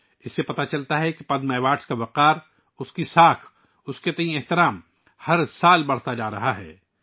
اس سے پتہ چلتا ہے کہ پدم ایوارڈ کا وقار، اس کی ساکھ اور اس کے لیے احترام ہر سال بڑھ رہا ہے